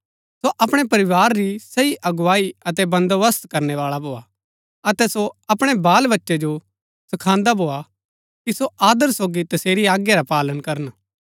सो अपणै परिवार री सही अगुवाई अतै बन्‍दोबस्त करनै बाळा भोआ अतै सो अपणै बालबच्चै जो सखांदा भोआ कि सो आदर सोगी तसेरी आज्ञा रा पालन करन